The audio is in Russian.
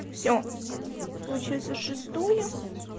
все получается шестое